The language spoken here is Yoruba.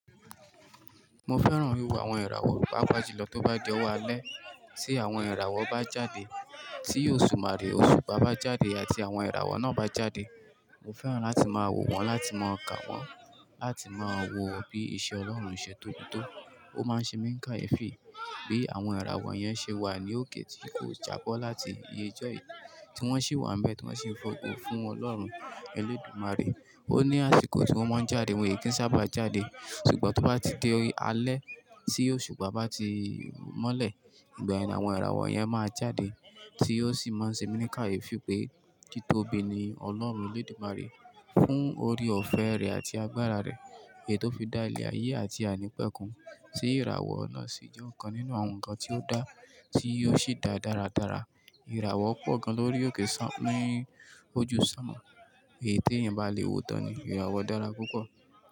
Mo fẹ́ràn wíwo àwọn ìràwọ̀, paapaa julọ tó bá di ọ̀wo alẹ́ tí àwọn ìràwọ̀ bá jáde, tí òṣùmàrè òṣùpá bá jáde àti àwọn ìràwọ̀ náà bá jáde. Mo fẹ́ràn láti máa wò wọ́n, láti máa kà wọ́n, láti máa wò bí iṣẹ́ Ọlọ́run, iṣẹ́ tóbi tó, ó máa ṣe mí n káyefẹ́, bí àwọn ìràwọ̀ yẹn ṣe wà ní òkè tí kò jábọ́ láti ìyè jọ́ yí, tí wọ́n sì wà n bẹ̀ tí wọ́n sì ń fògo fún Ọlọ́run Elédùmarè. Ó ní àsìkò tí wọ́n máa ń jáde, wọ́n e kí ń sábà jáde. Ṣùgbọ́n tó bá ti di alẹ́ tí òṣùpá bá ti mọ́lẹ̀, ìgbàẹn ni àwọn ìràwọ̀ yẹn máa jáde tí ò sì máa n ṣe mí káyefi pé títóbi ni Ọlọ́run Elédùmarè fún oore ọ̀fẹ́ rẹ̀ àti agbára rẹ̀, èyí tó fi dá ilẹ̀ ayé àti ài ńipẹ́ kun. Sí ìràwọ̀ náà sì jẹ́ ọ̀kan nínú àwọn nǹkan tí ó dá tí ó sì dá dáradára. Ìràwọ̀ pọ̀ gan lórí òkè ní ojú sánmo. Èyí tí ẹ̀eyan bá lè wò tán ni ìràwọ̀ dára púpọ̀